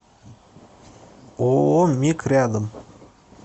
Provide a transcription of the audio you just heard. ооо мик рядом